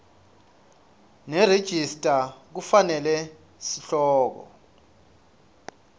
nerejista kufanele sihloko